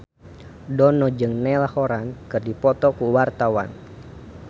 Dono jeung Niall Horran keur dipoto ku wartawan